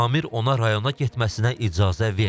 Samir ona rayona getməsinə icazə verməyib.